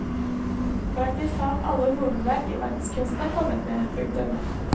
Praktiske talt alle hovedverk i verdenskunsten er kommet med. punktum